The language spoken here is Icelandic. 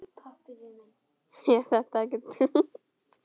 Er þetta ekki þungt?